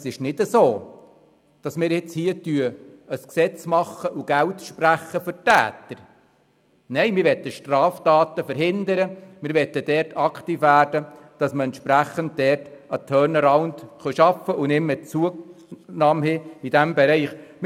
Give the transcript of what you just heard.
Es ist keinesfalls so, dass wir nun ein Gesetz schaffen und Geld sprechen würden für die Täter – nein, wir wollen Straftaten verhindern und wollen aktiv werden, um entsprechend in diesem Bereich den Turnaround zu schaffen und keine Zunahme mehr zu verzeichnen.